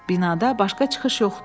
Binada başqa çıxış yoxdur.